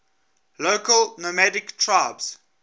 local nomadic tribes